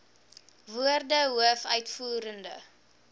woorde hoof uitvoerende